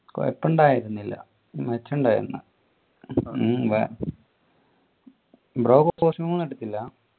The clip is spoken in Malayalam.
കുഴപ്പമുണ്ടായിരുന്നില്ല മെച്ചമുണ്ടായിരുന്നു ഉം ബ്രോ costume ഒന്നും എടുത്തില്ല